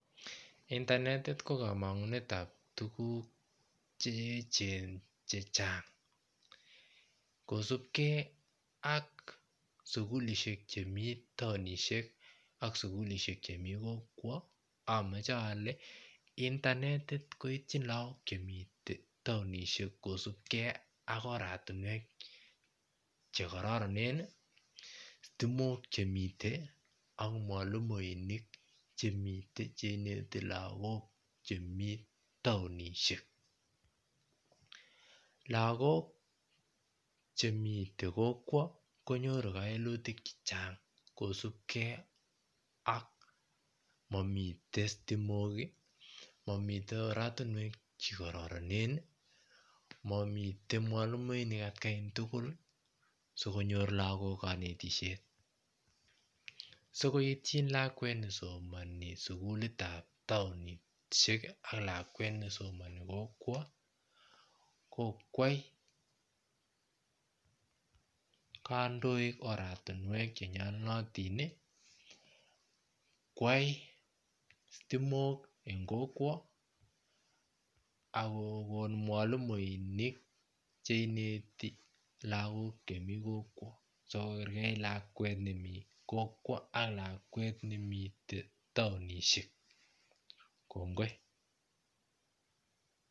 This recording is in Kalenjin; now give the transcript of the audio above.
Intanetit ko komngunetab tuguk chechang kosupkee ak sugulishek Chemi taonishek ak sugulishek Chemi kokwo amoche ole intanetit koityi lagok Chemi taonishek kosupkee ak oratinwek chekororoneni situmok chemiten ak mwalimuinik chemiten cheineti lagok Chemi taonishek lagok Chemite kokwo konyoru kewelutik chechang kosupkee ak momiten situmok momiten oratinwek chekororoneni momiten mwalimuinik atkai tuguli sikonyor lagok konetishet sikoityin lakwet nesomoni sugulitab taonisheki ak lakwet nesomoni kokwo kokwai kandoik oratinwek chenyolunotini kwai situmok en kokwo akokon mwalimuinik cheineti lagok Chemi kokwo sikokerkeit lakwet nemi kokwo ak taonishek kongoi